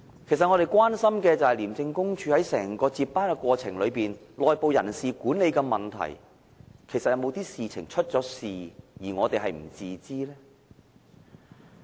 其實，我們所關心的，是廉署在整個部署接班過程中，在內部人事管理上，是否出現某種問題，而我們是不知道的呢？